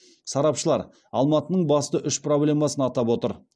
сарапшылар алматының басты үш проблемасын атап отыр